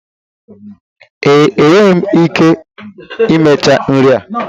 Ee, enweghị m ike imecha nri a.